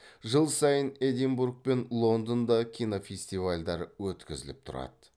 жыл сайын эдинбург пен лондонда кинофестивальдар өткізіліп тұрады